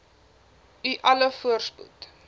u alle voorspoed